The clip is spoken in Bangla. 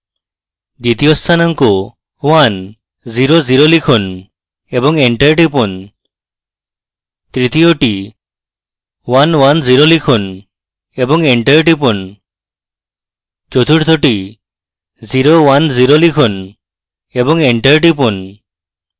দ্বিতীয় স্থানাঙ্ক 1 0 0 লিখুন এবং enter টিপুন তৃতীয়টি 1 1 0 লিখুন এবং enter টিপুন চতুর্থটি 0 1 0 লিখুন এবং enter টিপুন